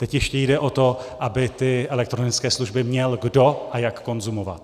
Teď ještě jde o to, aby ty elektronické služby měl kdo a jak konzumovat.